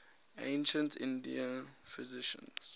ancient indian physicians